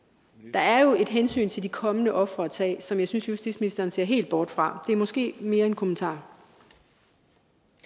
der er jo et hensyn til de kommende ofre at tage som jeg synes justitsministeren ser helt bort fra det er måske mere en kommentar